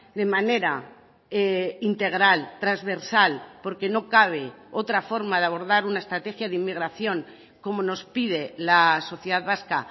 de manera integral transversal porque no cabe otra forma de abordar una estrategia de inmigración como nos pide la sociedad vasca